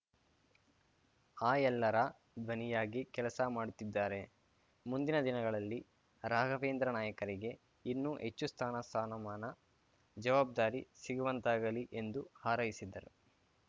ಆ ಎಲ್ಲರ ಧ್ವನಿಯಾಗಿ ಕೆಲಸ ಮಾಡುತ್ತಿದ್ದಾರೆ ಮುಂದಿನ ದಿನಗಳಲ್ಲಿ ರಾಘವೇಂದ್ರ ನಾಯಕರಿಗೆ ಇನ್ನೂ ಹೆಚ್ಚು ಸ್ಥಾನ ಸ್ಥಾನಮಾನ ಜವಾಬ್ಧಾರಿ ಸಿಗುವಂತಾಗಲಿ ಎಂದು ಹಾರೈಸಿದರು